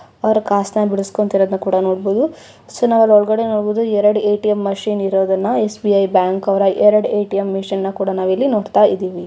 ಅವರು ಕಾಸುನ ಬಿಡಿಸುಕೊಂತಿರೋದುನ್ನ ಕೂಡ ನೋಡಬಹುದು ಸೊ ನಾವು ಅಲ್ಲಿ ಒಳಗಡೆ ನೋಡಬಹುದು ಎರೆಡು ಎ_ಟಿ_ಎಮ್ ಮೆಷಿನ್ ಇರೋದುನ್ನ ಎಸ್_ಬಿ_ಐ ಬ್ಯಾಂಕ್ ಅವರ ಎರೆಡು ಎ_ಟಿ_ಎಮ್ ಮೆಷಿನ್ನ ಕೂಡ ನಾವು ಇಲ್ಲಿ ನೋಡ್ತಾ ಇದಿವಿ.